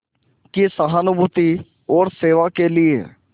की सहानुभूति और सेवा के लिए